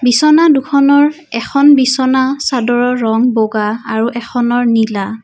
বিছনা দুখনৰ এখন বিচনা চাদৰৰ ৰং বগা আৰু এখনৰ নীলা।